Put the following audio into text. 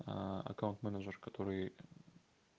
аккаунт менеджер который